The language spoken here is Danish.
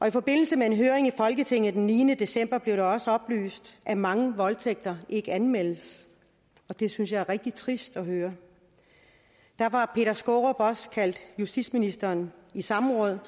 i forbindelse med en høring i folketinget den niende december blev det også oplyst at mange voldtægter ikke anmeldes og det synes jeg er rigtig trist at høre derfor har peter skaarup også kaldt justitsministeren i samråd